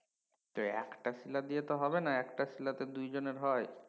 তো একটা শিলা দিয়ে তো হবে না একটা শিলায় দু জনের হয়